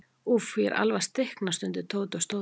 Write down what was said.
Úff, ég er alveg að stikna stundi Tóti og stóð upp.